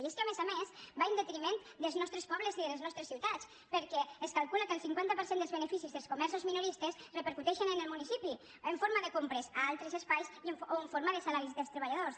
i és que a més a més va en detriment dels nostres pobles i de les nostres ciutats perquè es calcula que el cinquanta per cent dels beneficis dels comerços minoristes repercuteixen en el municipi en forma de compres a altres espais o en forma de salaris dels treballadors